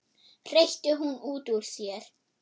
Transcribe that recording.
hreytti hún út úr sér.